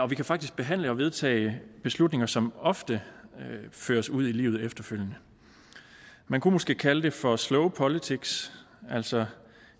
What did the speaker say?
kan faktisk behandle og vedtage beslutninger som ofte føres ud i livet efterfølgende man kunne måske kalde det for slow politics altså